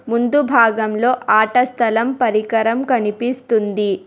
ముందు భాగంలో ఆట స్థలం పరికరం కనిపిస్తుంది.